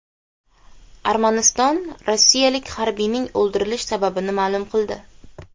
Armaniston rossiyalik harbiyning o‘ldirilish sababini ma’lum qildi.